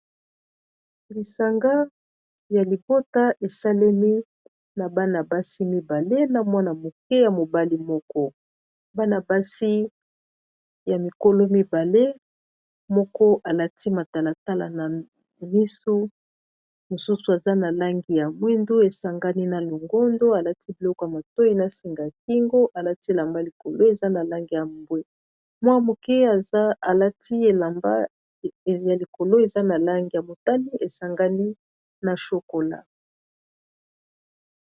lisanga ya libota esalemi na bana-basi mibale na mwana moke ya mobali moko bana-basi ya mikolo mibale moko alati matalatala na misu mosusu aza na langi ya mwindu esangani na longondo alati biloko ya matoi na singakingo alati elamba likolo eza na langi ya mbwe mwa moke ya likolo eza na langi ya motani esangani na shokola